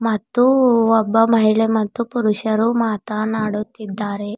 ಮತ್ತು ಒಬ್ಬ ಮಹಿಳೆ ಮತ್ತು ಪುರುಷರು ಮಾತನಾಡುತಿದ್ದಾರೆ.